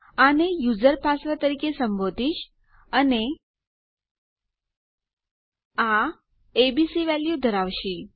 આને user password તરીકે સંબોધીશ અને આ એબીસી વેલ્યુ ધરાવશે